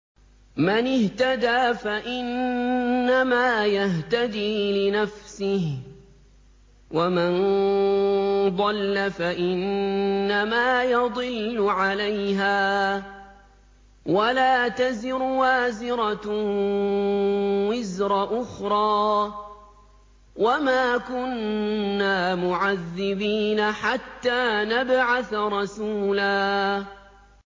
مَّنِ اهْتَدَىٰ فَإِنَّمَا يَهْتَدِي لِنَفْسِهِ ۖ وَمَن ضَلَّ فَإِنَّمَا يَضِلُّ عَلَيْهَا ۚ وَلَا تَزِرُ وَازِرَةٌ وِزْرَ أُخْرَىٰ ۗ وَمَا كُنَّا مُعَذِّبِينَ حَتَّىٰ نَبْعَثَ رَسُولًا